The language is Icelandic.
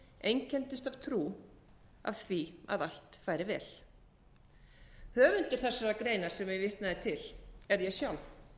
einkenndust af trú af því að allt færi vel höfundur þessarar greinar sem ég vitnaði til er ég sjálf